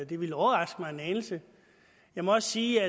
det ville overraske mig en anelse jeg må også sige